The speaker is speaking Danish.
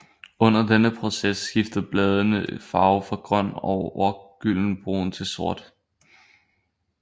Under denne proces skifter bladene farve fra grøn over gyldenbrun til sort